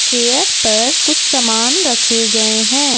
Chair पर कुछ सामान रखे गए हैं।